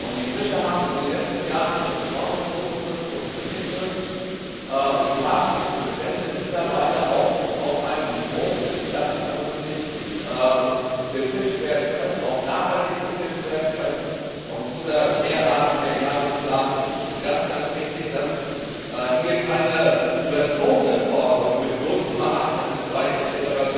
Die Fischer haben in den letzten Jahren schon enorme Quotenkürzungen hinnehmen müssen und haben die Bestände mittlerweile auch auf einem solchen Niveau, dass sie vernünftig befischt und auch nachhaltig befischt werden können, und dieser Mehrarten Mehrjahresplan ist ganz wichtig, damit es hier keine überzogenen Forderungen mit 0,8 MSY etc.